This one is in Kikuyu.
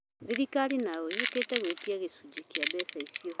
Thirikali nayo yũkĩte gwĩtia gĩcunjĩ kĩa mbeca icio